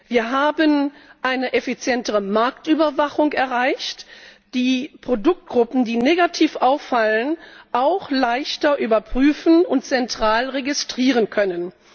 Wir haben eine effizientere Marktüberwachung erreicht, um die Produktgruppen, die negativ auffallen, auch leichter überprüfen und zentral registrieren zu können.